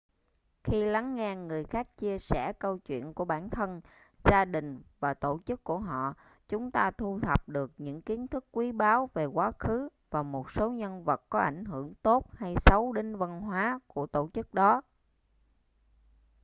khi lắng nghe người khác chia sẻ câu chuyện của bản thân gia đình và tổ chức của họ chúng ta thu thập được những kiến thức quý báu về quá khứ và một số nhân vật có ảnh hưởng tốt hay xấu đến văn hóa của tổ chức đó